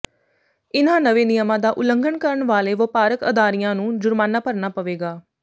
ਇਨ੍ਹਾਂ ਨਵੇਂ ਨਿਯਮਾਂ ਦਾ ਉਲੰਘਣ ਕਰਨ ਵਾਲੇ ਵਪਾਰਕ ਅਦਾਰਿਆਂ ਨੂੰ ਜੁਰਮਾਨਾ ਭਰਨਾ ਪਵੇਗਾ